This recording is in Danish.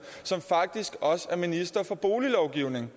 som faktisk også er minister for boliglovgivning